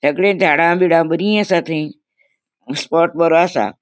सगळी झाड़ा बिडा बरी असा थंय स्पॉट बरो असा.